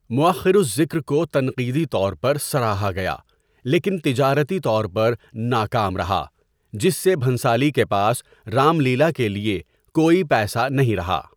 مؤخر الذکر کو تنقیدی طور پر سراہا گیا لیکن تجارتی طور پر ناکام رہا، جس سے بھنسالی کے پاس رام لیلا کے لیے کوئی پیسہ نہیں رہا۔